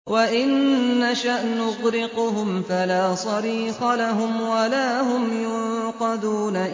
وَإِن نَّشَأْ نُغْرِقْهُمْ فَلَا صَرِيخَ لَهُمْ وَلَا هُمْ يُنقَذُونَ